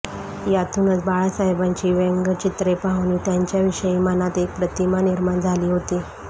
यातूनच बाळासाहेबांची व्यंगचित्रे पाहून त्यांच्याविषयी मनात एक प्रतिमा निर्माण झाली होती